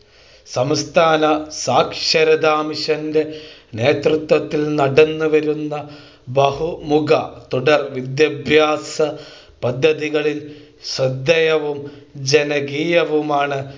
സംസ്ഥാന സാക്ഷരതാ മിഷൻ്റെ നേതൃത്വത്തിൽ നടന്നു വരുന്ന ബഹുമുഖ തുടർ വിദ്യാഭ്യാസ പദ്ധതികളിൽ ശ്രദ്ധേയവും ജനകീയവുമാണ്